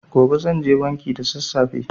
Gobe zanje banki da sassafe.